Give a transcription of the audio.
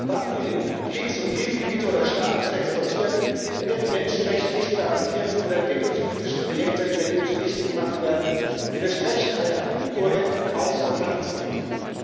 Waffen in Kriegs und Krisengebiete oder Staaten zu exportieren, in denen die Menschenrechte nicht garantiert sind oder entwicklungspolitische Projekte der EU zunichte gemacht werden, widerspricht einer kohärenten Außen und Handelspolitik.